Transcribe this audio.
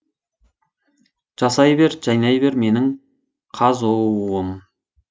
жасай бер жайнай бер менің қазұу ым